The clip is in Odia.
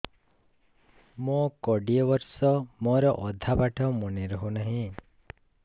ମୋ କୋଡ଼ିଏ ବର୍ଷ ମୋର ଅଧା ପାଠ ମନେ ରହୁନାହିଁ